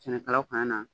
Sɛnɛkɛlaw kana